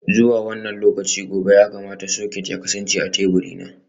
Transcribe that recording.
Zuwa wannan lokaci gobe ya kamata soket ya kasance a teburina.